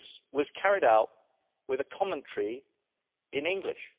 was carried out with a commentary in English.